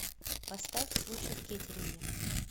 поставь случай в кеттеринге